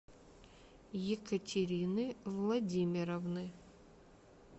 екатерины владимировны